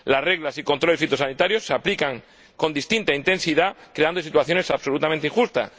y las reglas y los controles fitosanitarios se aplican con distinta intensidad, creándose situaciones absolutamente injustas.